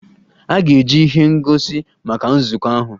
A ga-eji ihe ngosi maka nzukọ ahụ.